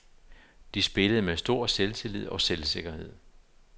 De spillede med stor selvtillid og selvsikkerhed.